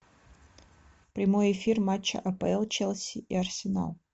прямой эфир матча апл челси и арсенал